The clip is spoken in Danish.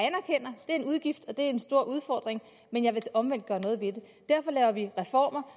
en udgift og det er en stor udfordring men jeg vil omvendt gøre noget ved det derfor laver vi reformer